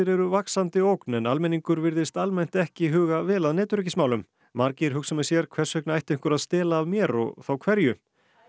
eru vaxandi ógn en almenningur virðist almennt ekki huga vel að netöryggismálum margir hugsa með sér hvers vegna ætti einhver að stela af mér og hverju eileen